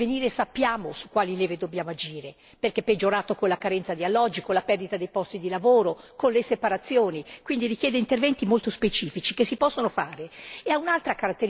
Quindi noi, se vogliamo intervenire, sappiamo su quali leve dobbiamo agire, perché è peggiorato con la carenza di alloggi, con la perdita dei posti di lavoro, con le separazioni quindi richiede interventi molto specifici, che si possono fare.